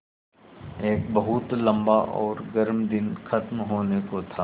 एक बहुत लम्बा और गर्म दिन ख़त्म होने को था